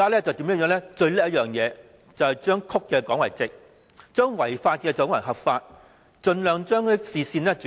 政府最了不起的便是把曲的說成直的，把違法的說成是合法，盡量把視線轉移。